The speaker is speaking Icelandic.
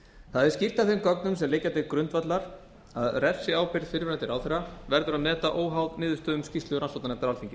það er skýrt af þeim gögnum sem liggja til grundvallar að refsiábyrgð fyrrverandi ráðherra verður að meta óháð niðurstöðum skýrslu rannsóknarnefndar alþingis